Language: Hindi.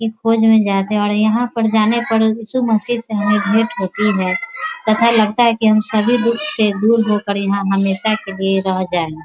ई खोज में जाते है और यहाँ पर जाने पर ईशा मसीह से हमें भेट होती है तथा लगता है की हम सभी दुःख से दूर होकर यहाँ हमेशा के लिए रह जाए ।